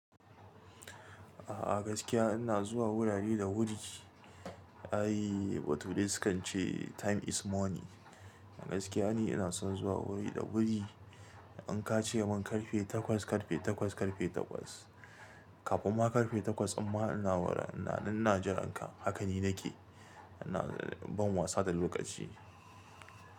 A'a gaskiya ina zuwa wurare da wuri. Ai, baturai sukan ce time is money. A gaskiya ni ina son zuwa wuri da wuri. In ka ce mun karfe takwas, karfe takwas, karfe takwas. Kafin ma karfe takwas din ma ina wurin, ina, ina jin ranka. Haka ni nake, ina ban wasa da lokaci.